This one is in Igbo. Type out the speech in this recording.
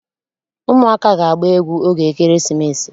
Ụmụaka ga-agba egwu oge ekeresimesi.